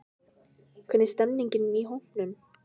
Hvernig stemmningin í hópnum?